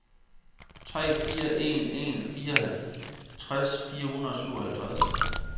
tre fire en en fireoghalvtreds fire hundrede og syvoghalvtreds